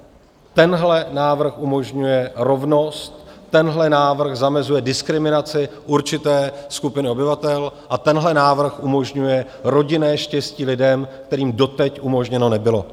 Tenhle návrh umožňuje rovnost, tenhle návrh zamezuje diskriminaci určité skupiny obyvatel a tenhle návrh umožňuje rodinné štěstí lidem, kterým doteď umožněno nebylo.